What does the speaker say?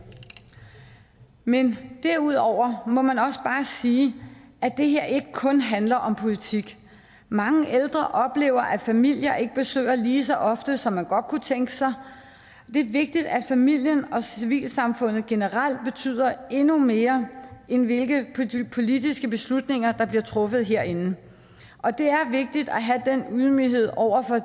men derudover må man også bare sige at det her ikke kun handler om politik mange ældre oplever at familier ikke besøger lige så ofte som man godt kunne tænke sig det er vigtigt at familien og civilsamfundet generelt betyder endnu mere end hvilke politiske beslutninger der bliver truffet herinde og det er vigtigt at have den ydmyghed over for